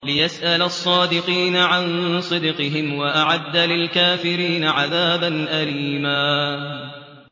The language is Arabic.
لِّيَسْأَلَ الصَّادِقِينَ عَن صِدْقِهِمْ ۚ وَأَعَدَّ لِلْكَافِرِينَ عَذَابًا أَلِيمًا